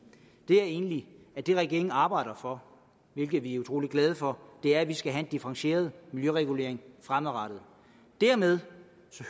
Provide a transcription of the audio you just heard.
var egentlig at det regeringen arbejder for hvilket vi er utrolig glade for er at vi skal have en differentieret miljøregulering fremadrettet dermed